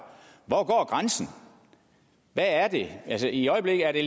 hvor går grænsen hvad er det altså i øjeblikket er det